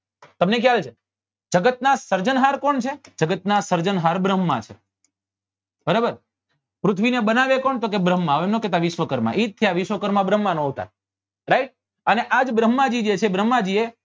તમને કેવાય છે જગત ના સર્જન હાર કોણ છે જગત ના સર્જન હાર ભ્રમ્હાં છે બરાબર પૃથ્નેવી બનાવે કોણ તો કે ભ્રમ્હાં એમ નાં કે વિશ્નુંકરમાં એ જ છે આ વિશ્નુંક્રમાં ભ્રમ્હાં નો અવતાર right અને આ જ ભ્રમ્હાજી જે છે જે ભ્રમ્હાજી એ